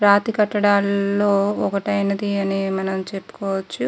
రాతి కట్టడాల్లో ఒకటైనది అని మనం చెప్పుకోవచ్చు.